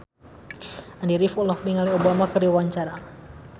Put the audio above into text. Andy rif olohok ningali Obama keur diwawancara